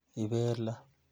Ibelee?